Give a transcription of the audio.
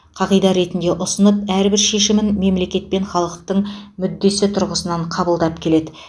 қағида ретінде ұсынып әрбір шешімін мемлекет пен халықтың мүддесі тұрғысынан қабылдап келеді